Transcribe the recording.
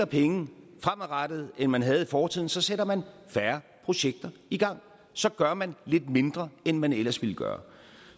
penge fremadrettet end man havde i fortiden så sætter man færre projekter i gang så gør man lidt mindre end man ellers ville gøre